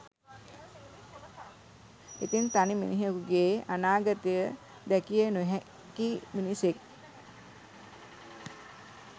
ඉතිං තනි මිනිහකුගේ අනාගතය දැකිය නොහැකි මිනිසෙක්